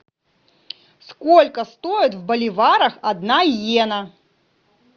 сколько стоит в боливарах одна йена